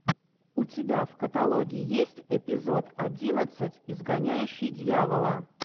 у тебя в каталоге есть эпизод одиннадцать изгоняющий дьявола